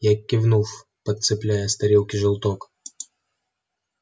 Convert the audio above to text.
я кивнул подцепляя с тарелки желток